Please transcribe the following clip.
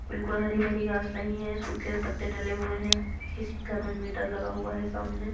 बिल्कुल हरी भरी घास नहीं है सुखे पत्ते डले हुए है किसी कारण मीटर लगा हुआ है सामने--